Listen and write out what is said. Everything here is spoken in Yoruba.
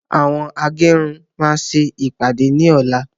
Àwọn agẹrun máa ṣe ìpàdé ní ọ̀la